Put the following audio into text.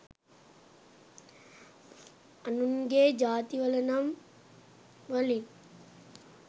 අනුන්ගෙ ජාතිවල නම් වලින්